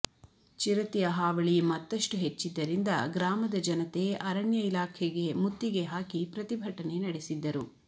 ಚಿರತೆಯ ಹಾವಳಿ ಮತ್ತಷ್ಟು ಹೆಚ್ಚಿದ್ದರಿಂದ ಗ್ರಾಮದ ಜನತೆ ಅರಣ್ಯ ಇಲಾಖೆಗೆ ಮುತ್ತಿಗೆ ಹಾಕಿ ಪ್ರತಿಭಟನೆ ನಡೆಸಿದ್ದರು